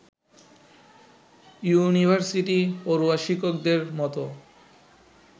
ইউনিভার্সিটিপড়ুয়া শিক্ষকদের মতো